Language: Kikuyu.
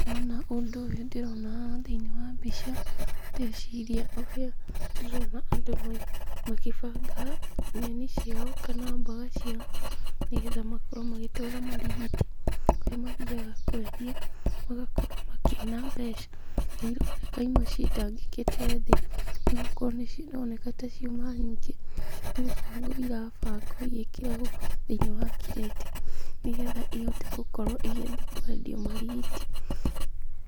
Wona ũndũ ũyũ ndĩrona haha thĩinĩ wa mbica, ndeciria ũrĩa ndĩrona andũ magĩbanga nyeni ciao kana mboga ciao, nĩgetha makorwo magĩtwara marigiti, kũrĩa mathiaga kwendia, magakorwo makĩona mbeca, na ironeka imwe citangĩkĩte thĩ, nĩgũkorwo nĩcironeka taciuma nyingĩ, nĩgũbangwo irabangwo igĩkĩragwo thĩinĩ wa kirĩti, nĩgetha ihote gũkorwo igĩthiĩ kwendio marigiti.